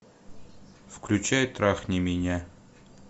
включай трахни меня